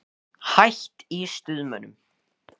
Hætt í Stuðmönnum?